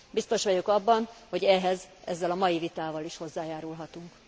Biztos vagyok abban, hogy ehhez ezzel a mai vitával is hozzájárulhatunk.